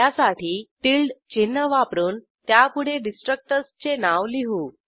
त्यासाठी टिल्डे चिन्ह वापरून त्यापुढे डिस्ट्रक्टर्सचे नाव लिहू